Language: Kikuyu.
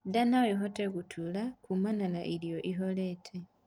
Ndaa noĩhote gutura kumana na kurĩa irio ihorete